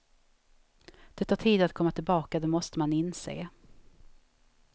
Det tar tid att komma tillbaka, det måste man inse.